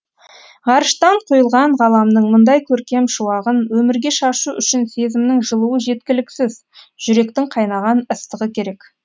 ғарыштан құйылған ғаламның мұндай көркем шуағын өмірге шашу үшін сезімнің жылуы жеткіліксіз жүректің қайнаған ыстығы керек